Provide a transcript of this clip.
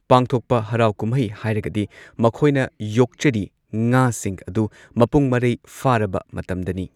ꯄꯥꯡꯊꯣꯛꯄ ꯍꯔꯥꯎ ꯀꯨꯝꯍꯩ ꯍꯥꯏꯔꯒꯗꯤ ꯃꯈꯣꯏꯅ ꯌꯣꯛꯆꯔꯤ ꯉꯥꯁꯤꯡ ꯑꯗꯨ ꯃꯄꯨꯡ ꯃꯔꯩ ꯐꯥꯔꯕ ꯃꯇꯝꯗꯅꯤ ꯅꯤ꯫